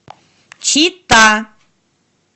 чита